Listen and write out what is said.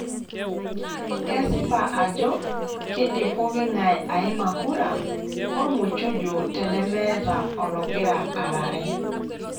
Kesipa ajo keidim pooking'ae aima kura olmuchujo tenemeeta ologira aarare.